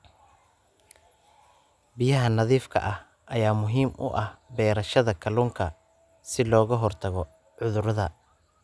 Biyaha nadiifka ah ayaa muhiim u ah beerashada kalluunka si looga hortago cudurrada.